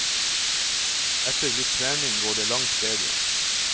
Etter litt trening går det langt bedre.